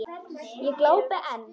Ég glápi enn.